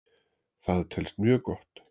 Það telst mjög gott.